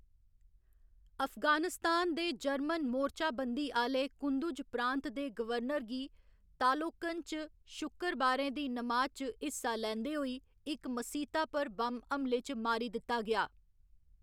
अफगानिस्तान दे जर्मन मोर्चाबंदी आह्‌ले कुंदुज प्रांत दे गवर्नर गी तालोकन च शुक्करबारै दी नमाज च हिस्सा लैंदे होई इक मसीता पर बम्ब हमले च मारी दित्ता गेआ।